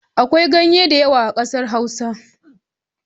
Akwai ganye da yawa a kasar hausa.